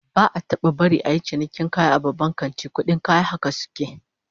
Ba'a taba barin a yi cinikin kaya a babban kanti, kudin kaya haka suke